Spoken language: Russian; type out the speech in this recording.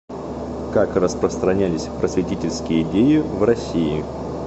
как распространялись просветительские идеи в россии